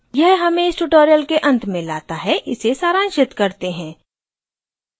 यह हमें इस tutorial के अंत में let है इसे सारांशित करते हैं